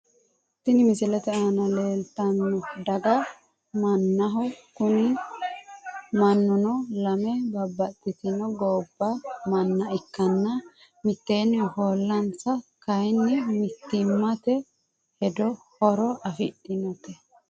Tini misilete aana leeltan daga mannaho kuni mannuno lame babbaxitino gobba manna ikkanna mitteenni ofollansa kaayni mittimmat hedon horo afirateeti.